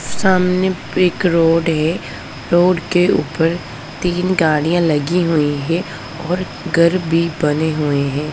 सामने एक रोड हैं रोड के ऊपर तीन गाड़ियां लगी हुईं हैं और घर भी बने हुएं हैं।